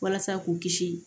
Walasa k'u kisi